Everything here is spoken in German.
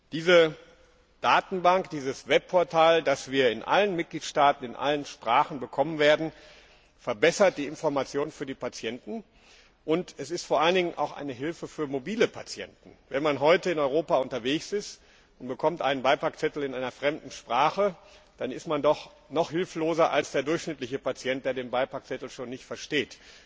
Diese Datenbank, dieses Web Portal, das wir in allen Mitgliedstaaten in allen Sprachen bekommen werden, verbessert die Information für die Patienten, und es ist vor allen Dingen auch eine Hilfe für mobile Patienten. Wenn man heute in Europa unterwegs ist und einen Beipackzettel in einer fremden Sprache bekommt, dann ist man doch noch hilfloser als der durchschnittliche Patient, der den Beipackzettel schon nicht versteht.